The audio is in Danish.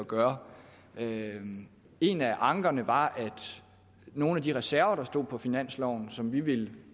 gøre en af ankerne var at nogle af de reserver der stod på finansloven og som vi ville